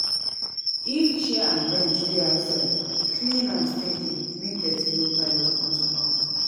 If chair and bench dey outside, clean am steady make dirty no pile up ontop am